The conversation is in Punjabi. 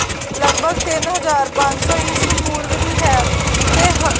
ਲੱਗਭਗ ਤਿੰਨ ਹਜ਼ਾਰ ਪੰਜ ਸੋ ਈਸਵੀਂ ਪੂਰਵ ਦੀ ਹੈ ਤੇ ਹ